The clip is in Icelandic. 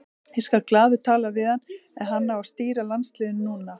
Ég skal glaður tala við hann en hann á að stýra landsliðinu núna.